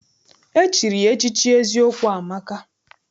E chiri ya echichi Eziokwu amaka